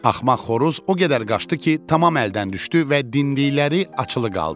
Axmaq xoruz o qədər qaçdı ki, tam əldən düşdü və dinclikləri açılı qaldı.